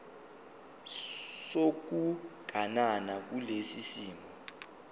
sokuganana kulesi simo